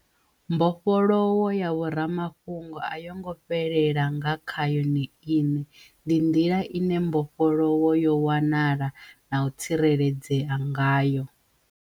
Mbofholowo ya vho rama fhungo a yo ngo fhelela nga kha yone iṋe. Ndi nḓila ine mbofholowo yo wanala na u tsireledzea ngayo.